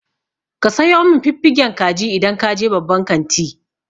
Ka sayo min fiffigen kaji idan ka je babban kanti.